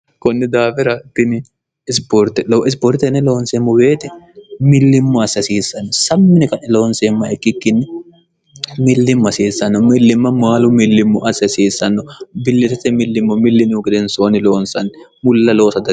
kunni daafira bini isiborte looisibortenne loonseemmo weeti millimmo assi hasiissanno sammini qae loonseemma ikkikkinni millimmo hasiissanno millimma maalu millimmo assi hasiissanno billisete millimmo millinihu gidensoonni loonsanni mulla loosa